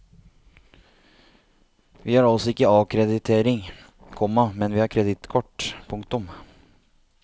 Vi har altså ikke akkreditering, komma men vi har kredittkort. punktum